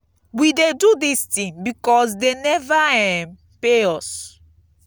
we dey do dis thing because dey never um pay us.